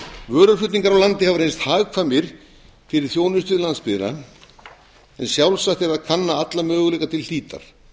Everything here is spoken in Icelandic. vöruflutningar á landi hafa reynst hagkvæmir fyrir þjónustu við landsbyggðina en sjálfsagt er að kanna alla möguleika til hlítar